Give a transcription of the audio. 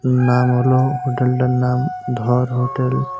নাম হল হোটেলটার নাম ধর হোটেল ।